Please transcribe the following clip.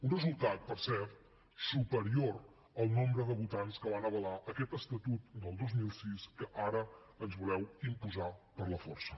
un resultat per cert superior al nombre de votants que van avalar aquest estatut del dos mil sis que ara ens voleu imposar per la força